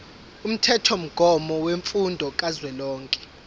umthethomgomo wemfundo kazwelonke